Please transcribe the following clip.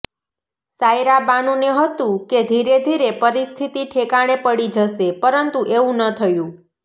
સાઈરાબાનુને હતુ કે ધીરેધીરે પરિસ્થિતિ ઠેકાણે પડી જશે પરંતુ એવું ન થયું